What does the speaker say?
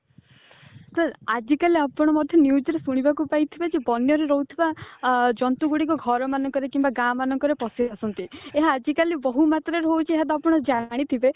sir ଆଜିକାଲି ଆପଣ ମଧ୍ୟ news ରେ ଶୁଣିବାକୁ ପାଇଥିବେ ଯେ ବନ ରେ ରହୁଥିବା ଅ ଜନ୍ତୁ ଗୁଡିକ ଘର ମାନଙ୍କରେ ଗାଁ ମାନଙ୍କରେ ପଶି ଆସନ୍ତି ମାନେ ଆଜିକାଲି ବହୁ ମାତ୍ରାରେ ହଉଛି ଏହାବି ଆପଣ ଜାଣିଥିବେ